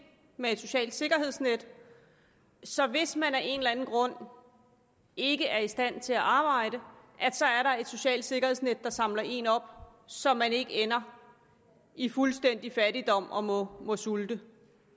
med et socialt sikkerhedsnet så hvis man af en eller anden grund ikke er i stand til at arbejde er der et socialt sikkerhedsnet samler en op så man ikke ender i fuldstændig fattigdom og må må sulte